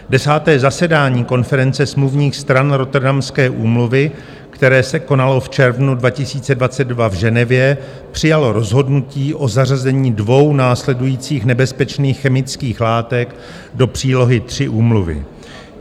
Desáté zasedání konference smluvních stran Rotterdamské úmluvy, které se konalo v červnu 2022 v Ženevě, přijalo rozhodnutí o zařazení dvou následujících nebezpečných chemických látek do přílohy III úmluvy.